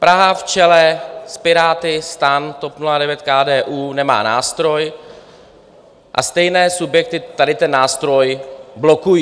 Praha v čele s Piráty, STAN, TOP 09, KDU nemá nástroj a stejné subjekty tady ten nástroj blokují.